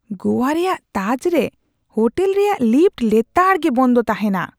ᱜᱳᱣᱟ ᱨᱮᱭᱟᱜ ᱛᱟᱡᱽ ᱨᱮ ᱦᱳᱴᱮᱞ ᱨᱮᱭᱟᱜ ᱞᱤᱯᱷᱴ ᱞᱮᱛᱟᱲ ᱜᱮ ᱵᱚᱱᱫᱚ ᱛᱟᱦᱮᱱᱟ ᱾